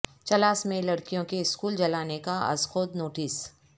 چلاس میں لڑکیوں کے اسکول جلانے کا ازخود نوٹس